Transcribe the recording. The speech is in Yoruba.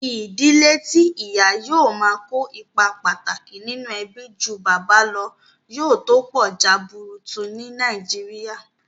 Ìdílé tí ìyà yóò máa kó ipa pàtàkì nínú ẹbí ju bàbá lọ, yóò tó pọ̀ jaburutu ní nàìjíría